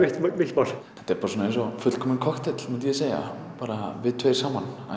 mitt mál þetta er bara svona eins og fullkominn kokteill myndi ég segja við tveir saman að